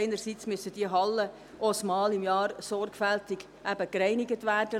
Einerseits müssen die Hallen einmal im Jahr sorgfältig gereinigt werden.